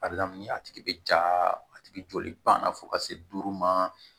A bɛ daminɛ a tigi bɛ ja a tigi joli banna fo ka se duuru ma